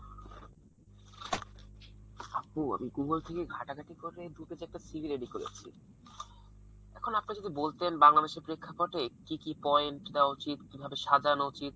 আপু আমি Google থেকে ঘাটাঘাটি করে দু page এর একটা CV ready করেছি। এখন আপনি যদি বলতেন বাংলাদেশের প্রেক্ষাপটে কি কি point দেওয়া উচিত? কিভাবে সাজানো উচিত।